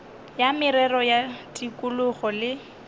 ya merero ya tikologo le